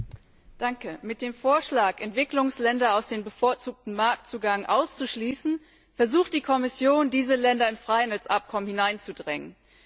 Herr Präsident! Mit dem Vorschlag, Entwicklungsländer aus dem bevorzugten Marktzugang auszuschließen, versucht die Kommission, diese Länder in Freihandelsabkommen hineinzudrängen.